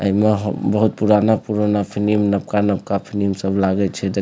एमें हउ बहुत पुराना-पुराना फिल्म नबका-नबका फिल्म सब लागे छै दे --